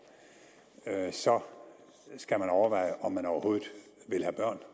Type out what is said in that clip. så skal man overveje om man overhovedet vil have børn